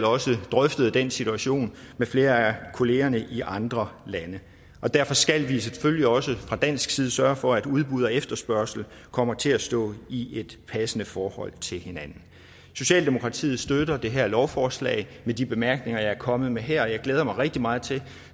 også drøftet den situation med flere af kollegerne i andre lande og derfor skal vi selvfølgelig også fra dansk side sørge for at udbud og efterspørgsel kommer til at stå i et passende forhold til hinanden socialdemokratiet støtter det her lovforslag med de bemærkninger jeg er kommet med her og jeg glæder mig rigtig meget til